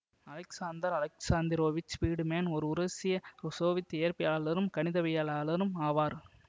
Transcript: Alexander Alexandrovich Friedmann ஓர் உருசிய Soviet இயற்பியலாளரும் கணிதவியலாளரும் ஆவார்